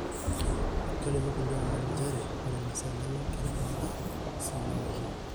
Kelimu kulie omon njere ore masaa enyenak keirekoda sii newaki.